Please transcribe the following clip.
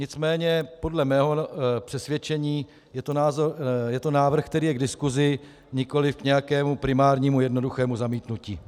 Nicméně podle mého přesvědčení je to návrh, který je k diskusi, nikoliv k nějakému primárnímu jednoduchému zamítnutí.